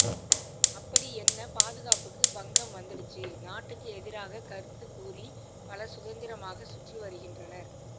அப்படி என்ன பாதுகாப்புக்கு பங்கம் வந்துடுச்சு நாட்டுக்கு எதிராக கருது கூறி பலர் சுதந்திரமாக சுற்றி வருகின்றனர்